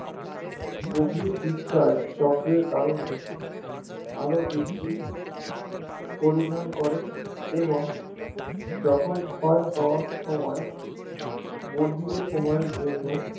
গভীর discharge চক্রের কারনে আরো বেশি পরিধান করে এবং যখন ক্ষয় হওয়ার সময় সময় এর জন্য